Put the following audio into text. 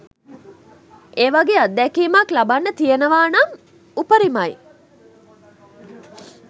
ඒ වගේ අත්දැකීමක් ලබන්න තියෙනවානම් උපරිමයි.